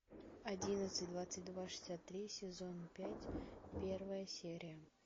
одиннадцать двадцать два шестьдесят три сезон пять первая серия